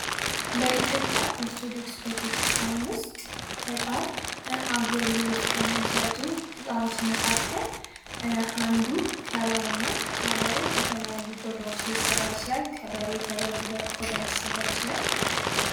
በኢትዮጵያ ኦርቶዶክስ ቤተክስቲያን ዉስጥ በጣም አገልግሎት ከሚሰጡ እቃዎች መካከል አንዱ ከበሮ ነው ከበሮ ከተለያዩ ቆዳዎች ሊሰራ ይችላል። ከበሬ ፣ ከበግ ቆዳ ሊሰራ ይችላል።